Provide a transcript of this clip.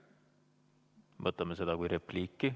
Võtame seda kui repliiki.